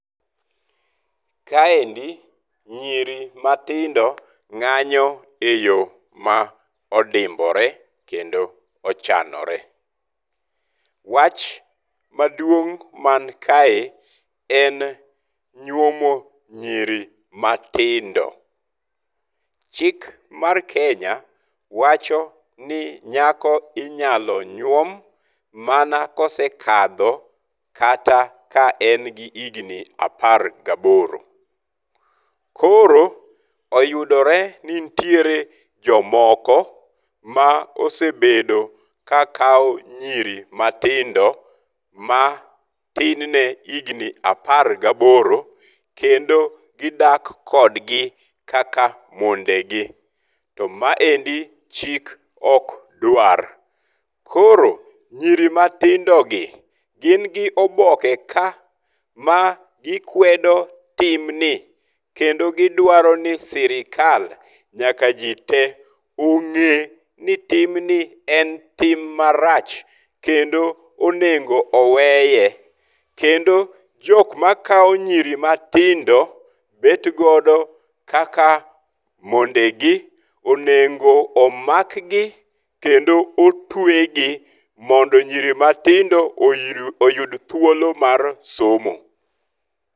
Kaendi, nyiri matindo ng'anyo eyo ma odimbore kendo ochanore. Wach maduong' man kae en nyuomo nyiri matindo. Chik mar Kenya wacho ni nyako inyalo nyuom mana ka osekadho kata ka en gi higni apar gaboro. Koro oyudore ni nitiere jomoko ma osebedo ka kawo nyiri matindo ma tin ne higni apar gaboro kendo gidak kodgi kaka mondegi. To maendi chik ok dwar. Koro nyiri matindogi, gin gi oboke ka, ma gikwedo timni kendo gidwaro ni sirkal, nyaka ji tee ong'e ni timni en tim marach, kendo onego oweye. Kendo jok makawo nyiri matindo bet godo kaka mondegi onego omakgi, kendo otwegi mondo nyiri matindo oyu oyud thuolo mar somo.